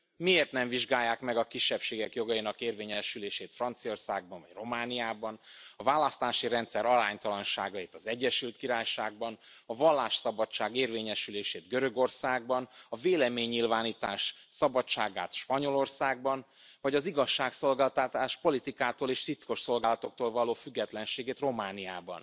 Miért nem vizsgálják meg a kisebbségek jogainak érvényesülését Franciaországban vagy Romániában, a választási rendszer aránytalanságait az Egyesült Királyságban, a vallásszabadság érvényesülését Görögországban, a véleménynyilvánítás szabadságát Spanyolországban, vagy az igazságszolgáltatás politikától és titkosszolgálatoktól való függetlenségét Romániában?